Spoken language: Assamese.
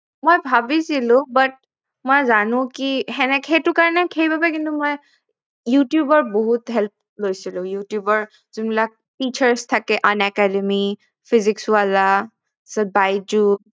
মই ভাবিছিলো but মই জানো কি সেনেকে সেইটো কাৰনে সেইবাবেই কিন্তু মই youtube ৰ বহুত help লৈছিলো youtube যোন বিলাক features থাকে unacademy physics wala তাৰপিছত buyjus